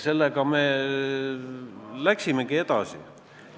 Sellega me läksimegi edasi.